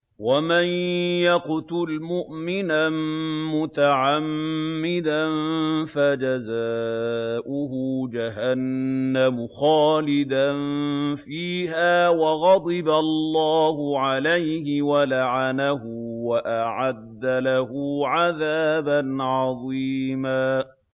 وَمَن يَقْتُلْ مُؤْمِنًا مُّتَعَمِّدًا فَجَزَاؤُهُ جَهَنَّمُ خَالِدًا فِيهَا وَغَضِبَ اللَّهُ عَلَيْهِ وَلَعَنَهُ وَأَعَدَّ لَهُ عَذَابًا عَظِيمًا